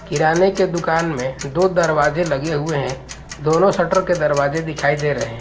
किराने के दुकान में दो दरवाजे लगे हुए हैं दोनों शटर के दरवाजे दिखाई दे रहें--